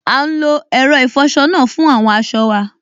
À n lo ẹ̀rọ ìfọsọ náà fún àwọn aṣọ wa